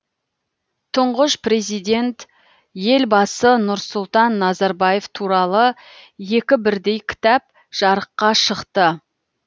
тұңғыш президент елбасы нұрсұлтан назарбаев туралы екі бірдей кітап жарыққа шықты